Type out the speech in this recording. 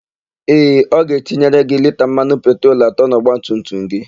Ee, ọ ga-etinyere gị lita mmanụ petrol atọ n'ọgbatumtum gị.